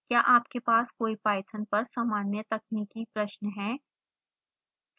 क्या आपके पास कोई पाइथन पर सामान्य/तकनीकी प्रश्न है